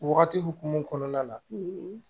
Wagati hokumu kɔnɔna na